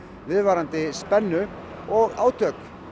viðvarandi spennu og átök